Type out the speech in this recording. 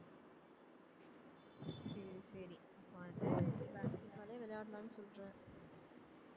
சரி சரி அப்ப வந்து basket ball ஏ விளையாடலாம்னு சொல்லற